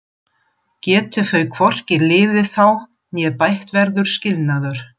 Geti þau hvorki liðið þá né bætt verður skilnaður.